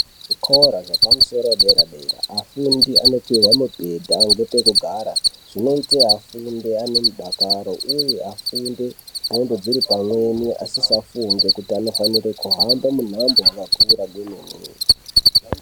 Zvikora zvepadera-dera afundi anopuwa mubhedha ngepekugara, zvinoita afundi ane mudakaro uye afunde ndxondo dziri pamweni asisafunge kuti anofanire kuhamba muhambo wakakura kwemene.